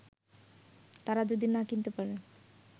তারা যদি না কিনতে পারে